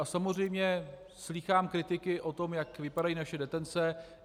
A samozřejmě slýchám kritiky o tom, jak vypadají naše detence.